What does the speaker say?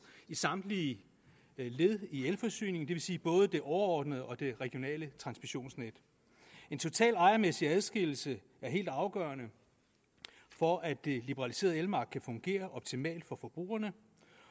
i samtlige led i elforsyningen det vil sige både det overordnede og det regionale transmissionsnet en total ejermæssig adskillelse er helt afgørende for at det liberaliserede elmarked kan fungere optimalt for forbrugerne